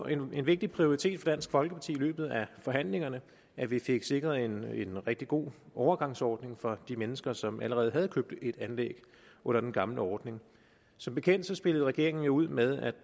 en vigtig prioritet for dansk folkeparti i løbet af forhandlingerne at vi fik sikret en rigtig god overgangsordning for de mennesker som allerede havde købt et anlæg under den gamle ordning som bekendt spillede regeringen jo ud med at